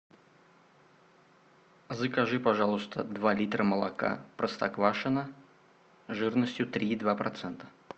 закажи пожалуйста два литра молока простоквашино жирностью три и два процента